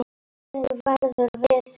Gleðin verður við völd.